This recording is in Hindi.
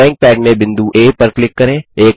ड्राइंग पैड में बिंदु आ पर क्लिक करें